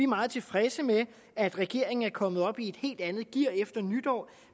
meget tilfredse med at regeringen er kommet op i et helt andet gear efter nytår